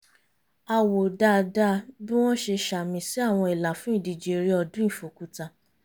a wò dáadáa bí wọ́n ṣe ṣàmì sí àwọn ìlà fún ìdíje eré ọdún ìfòkúta